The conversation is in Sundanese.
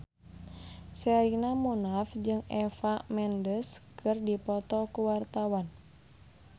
Sherina Munaf jeung Eva Mendes keur dipoto ku wartawan